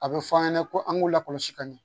A bɛ fɔ an ɲɛna ko an k'u lakɔlɔsi ka ɲɛ